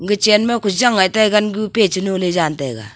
ga chenma kujang ngai taiyu gangu peh cha nu ley jan taiga.